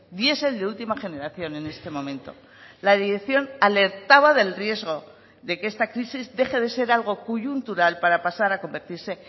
diesel de última generación en este momento la dirección alertaba del riesgo de que esta crisis deje de ser algo coyuntural para pasar a convertirse